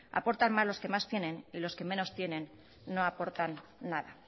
aportan más los que más tienen y los que menos tienen no aportan nada